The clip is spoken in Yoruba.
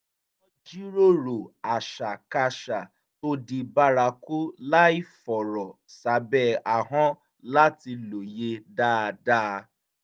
wọ́n jíròrò àṣàkáṣà tó di bárakú láìfọ̀rọ̀ sábẹ̀ ahọ́n láti lóye dáadáa